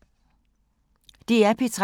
DR P3